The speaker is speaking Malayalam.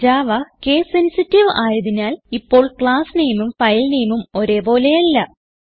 ജാവ case സെൻസിറ്റീവ് ആയതിനാൽ ഇപ്പോൾ ക്ലാസ് nameഉം ഫൈൽ nameഉം ഒരേ പോലെ അല്ല